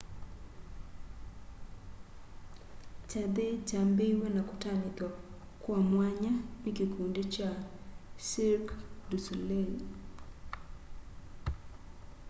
kyathĩ kyambĩĩe na kũtanĩthw'a kwa mwanya nĩ kĩkũndĩ cha cĩrqũe dũ solelĩ